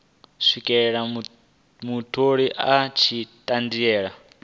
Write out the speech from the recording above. swikela mutholi a tshi ṱanziela